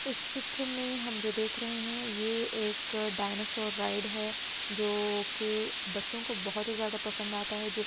इस चित्र में हम जो देख रहे हैं ये एक डायनासोर राइड है जोकि बच्चों को बहोत ही ज़्यादा पसंद आता है जो --